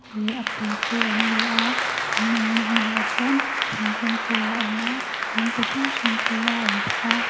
leh a pawl te an ni a an awm na hmun ah chuan thingkung te a awm a in ti hrang hrang te a awm bawk a.